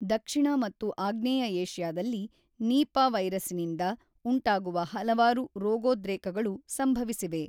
ದಕ್ಷಿಣ ಮತ್ತು ಆಗ್ನೇಯ ಏಷ್ಯಾದಲ್ಲಿ ನೀಪಾ ವೈರಸ್ಸಿನಿಂದ ಉಂಟಾಗುವ ಹಲವಾರು ರೋಗೋದ್ರೇಕಗಳು ಸಂಭವಿಸಿವೆ.